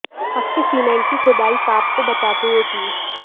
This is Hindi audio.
पक्के सीमेंट की खुदाई सांप को बचाते हुए की